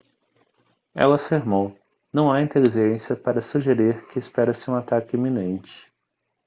ela afirmou não há inteligência para sugerir que espera-se um ataque iminente